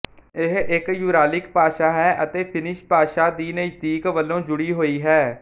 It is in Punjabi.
ਇਹ ਇੱਕ ਯੂਰਾਲਿਕ ਭਾਸ਼ਾ ਹੈ ਅਤੇ ਫਿਨਿਸ਼ ਭਾਸ਼ਾ ਦੀ ਨਜ਼ਦੀਕ ਵਲੋਂ ਜੁਡ਼ੀ ਹੋਈ ਹੈ